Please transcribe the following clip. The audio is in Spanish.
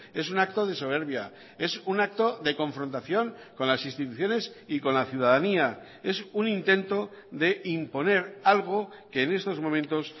es un acto de soberbia es un acto de confrontación con las instituciones y con la ciudadanía es un intento d imponer algo que en estos momentos